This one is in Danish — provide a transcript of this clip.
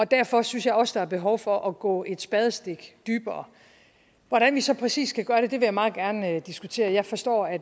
derfor synes jeg også der er behov for at gå et spadestik dybere hvordan vi så præcis skal gøre det vil jeg meget gerne diskutere jeg forstår at